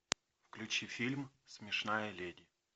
включи фильм смешная леди